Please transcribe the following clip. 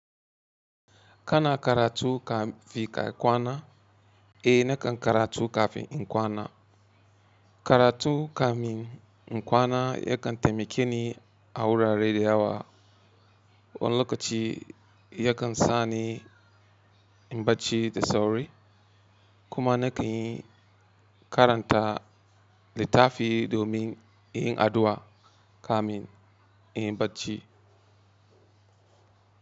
Kana karatu kafin kwana? Eh nakan karatu kafin kwana. Karatu kafin kwana yakan taimake ni a wurare da yawa. Wani lokaci yakan sani in bacci da sauri kuma na kan yin karanta littafi domin yin addu'a kafin in bacci.